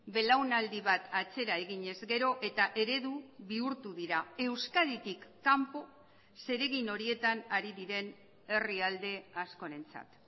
belaunaldi bat atzera eginez gero eta eredu bihurtu dira euskaditik kanpo zeregin horietan ari diren herrialde askorentzat